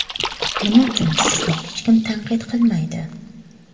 Nima uchun sizni hech kim tanqid qilmaydi?